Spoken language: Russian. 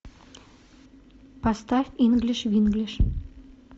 поставь инглиш винглиш